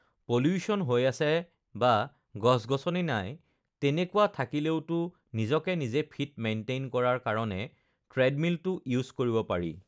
pollution হৈ আছে বা গছ-গছনি নাই তেনেকুৱা থাকিলেওতো নিজকে নিজে ফিট মেইনটেইন কৰাৰ কাৰণে ট্ৰেডমিলটো ইউজ কৰিব পাৰি